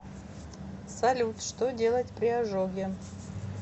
салют что делать при ожоге